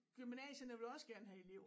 Gymnasierne vil også gerne have elever